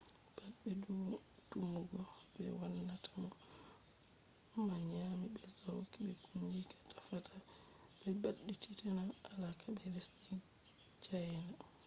pat be tumugo be wannata mo ma nyami be sauki be kungiya tefata ɓe ɓaditina alaka be lesdi cayna